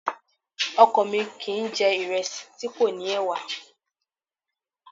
Ọkọ mi kìí jẹ̀ ìrẹsì tí kò ní ẹ̀wà